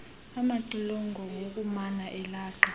amaxilongo ngokumana elaqa